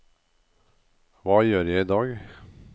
hva gjør jeg idag